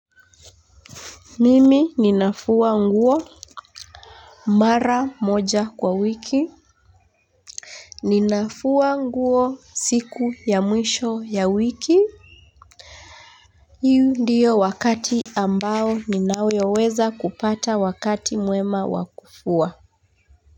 Mimi ninafua nguo mara moja kwa wiki. Ninafua nguo siku ya mwisho ya wiki hi ndiyo wakati ambao ninayoweza kupata wakati mwema wa kufua.